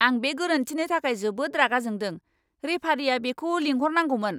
आं बे गोरोन्थिनि थाखाय जोबोद रागा जोंदों! रेफारिया बेखौ लिंहरनांगौमोन!